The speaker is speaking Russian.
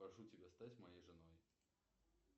прошу тебя стать моей женой